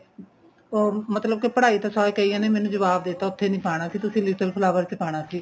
ਉਹ ਮਤਲਬ ਕੀ ਪੜਾਈ ਤਾਂ ਸਾਰੇ ਕਈਆਂ ਨੇ ਮੈਨੂੰ ਜਵਾਬ ਦੇਤਾ ਉੱਥੇ ਨੀਂ ਪਾਣਾ ਸੀ ਤਸੀ little flower ਚ ਪਾਣਾ ਸੀ